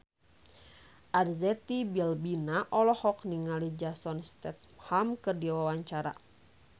Arzetti Bilbina olohok ningali Jason Statham keur diwawancara